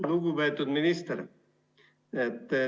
Lugupeetud minister!